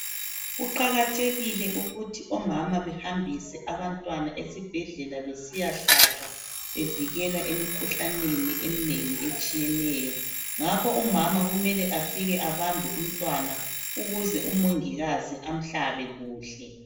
Kuqakathekile ukuthi omama behambise abantwana esibhedlela besiyahlatshwa bevikelwa emikhuhlaneni eminengi etshiyeneyo. Ngakho umama kumele afike abambe umntwana ukuze umongikazi amhlabe kuhle.